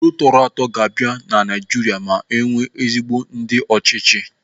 Udo tọrọ atọ ga-abịa na Naijiria ma enwee ezigbo ndị ọchịchị.